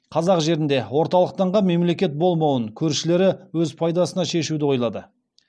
қазақ жерінде орталықтанған мемлекет болмауын көршілері өз пайдасына шешуді ойлады